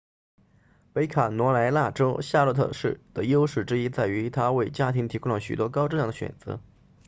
北卡罗来纳州夏洛特市的优势之一在于它为家庭提供了许多高质量的选择